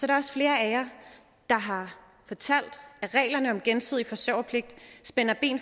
der også flere af jer der har fortalt at reglerne om gensidig forsørgerpligt spiller ind